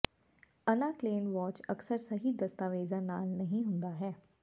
ਅਨਾ Klein watch ਅਕਸਰ ਸਹੀ ਦਸਤਾਵੇਜ਼ਾਂ ਨਾਲ ਨਹੀਂ ਹੁੰਦਾ ਹੈ